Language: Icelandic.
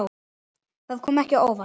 Það kom ekki á óvart.